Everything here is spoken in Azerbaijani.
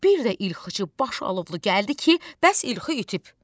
Bir də ilxıçı başılovlu gəldi ki, bəs ilxı itib.